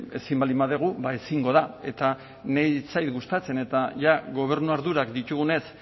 ezin baldin badugu ba ezingo da eta niri ez zait gustatzen eta jada gobernu ardurak ditugunez